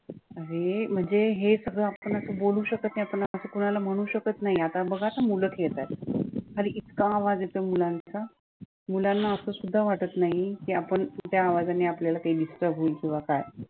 अरे म्हणजे हे सगळं आपण असं बोलू शकतं नाही आपण असं कोणाला बोलू शकत नाही, आता बघ हा मुलं खेळतात खाली इतका आवाज येतोय मुलांचा मुलांना असं सुद्धा वाटत नाही, की आपण त्या आवाजाने आपल्याला काही disturb होईल किंवा काय